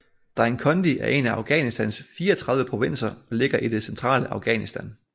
Dainkondi er en af Afghanistans 34 provinser og ligger i det centrale Afghanistan